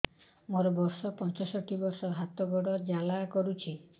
ମୋର ବର୍ଷ ପଞ୍ଚଷଠି ମୋର ହାତ ଗୋଡ଼ ଜାଲା କରୁଛି